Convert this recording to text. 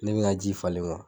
Ne bɛ ŋa ji falen